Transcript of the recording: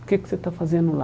O que que você está fazendo lá?